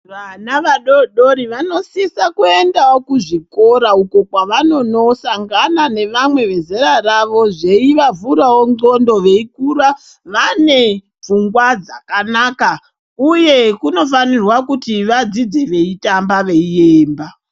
Vana vadoodori vanosisa kuendawo kuzvikora uko kwavanonosangana nevamwe vezera ravo zveivavhurawo ndxondo veikura vanepfungwa dzakanaka. Uye kunofanirwa kuti vadzidze veitamba veiemba.